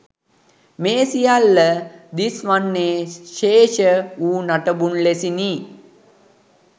මේ සියල්ල දිස් වන්නේ ශේෂ වූ නටබුන් ලෙසිනි